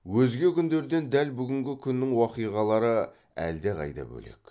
өзге күндерден дәл бүгінгі күннің уақиғалары әлде қайда бөлек